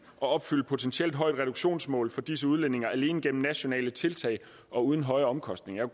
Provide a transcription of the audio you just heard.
at opfylde et potentielt højt reduktionsmål for disse udledninger alene gennem nationale tiltag og uden høje omkostninger